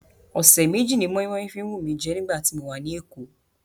Ọ̀sẹ̀ méjì ni moinmoin fi wù mí jẹ́ nígbà tí mo wà ní Èkó.